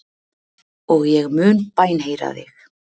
Og ég mun bænheyra þig.